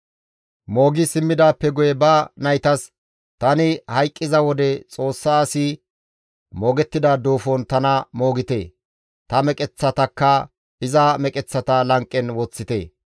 Moogi simmidaappe guye ba naytas, «Tani hayqqiza wode Xoossa asi moogettida duufon tana moogite; ta meqeththatakka iza meqeththata lanqen woththite.